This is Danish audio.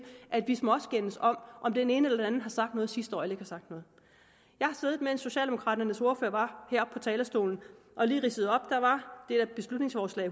at vi skal småskændes om om den ene eller den anden har sagt noget sidste år eller har sagt noget jeg har siddet mens socialdemokraternes ordfører var heroppe på talerstolen og lige ridset op der var beslutningsforslag